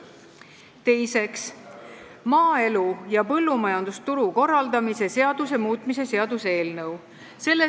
Teiseks, maaelu ja põllumajandusturu korraldamise seaduse muutmise seaduse eelnõu.